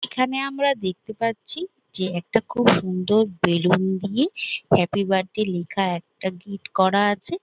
এখানে আমরা দেখতে পাচ্ছি যে একটা খুব সুন্দর বেলুন দিয়ে হ্যাপি বাড্ডে লিখা একটা গিট করা আছে ।